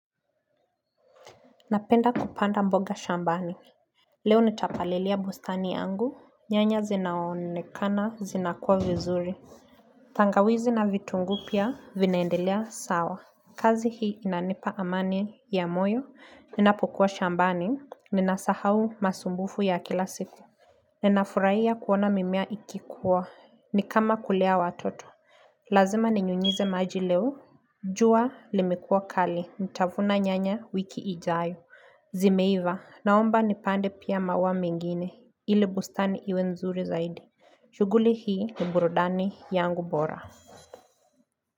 Napenda kupanda mboga shambani. Leo nitapalilia bustani yangu. Nyanya zinaonekana zinakuwa vizuri. Tangawizi na vitunguu pia vinaendelea sawa. Kazi hii inanipa amani ya moyo. Ninapukua shambani. Ninasahau masumbufu ya kila siku. Ninafuraiya kuona mimea ikikua. Nikama kulea watoto. Lazima ninyunyize maji leo. Jua limekua kali. Ntavuna nyanya wiki ijayo. Zimeiva naomba nipande pia maua mingine ili bustani iwe nzuri zaidi shuguli hii ni burudani yangu bora.